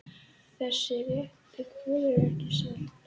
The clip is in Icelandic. Þessi réttur þolir mikið salt.